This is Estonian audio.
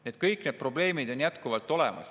Nii et kõik need probleemid on jätkuvalt olemas.